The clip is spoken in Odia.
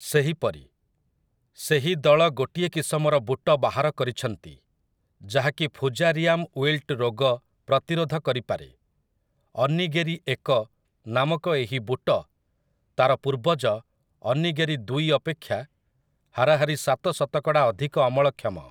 ସେହିପରି, ସେହି ଦଳ ଗୋଟିଏ କିସମର ବୁଟ ବାହାର କରିଛନ୍ତି, ଯାହା କି ଫୂଜାରିଆମ୍ ୱିଲ୍ଟ ରୋଗ ପ୍ରତିରୋଧ କରିପାରେ । 'ଅନ୍ନିଗେରି ଏକ' ନାମକ ଏହି ବୁଟ ତାର ପୂର୍ବଜ 'ଅନ୍ନିଗେରି ଦୁଇ' ଅପେକ୍ଷା ହାରାହାରି ସାତ ଶତକଡ଼ା ଅଧିକ ଅମଳକ୍ଷମ ।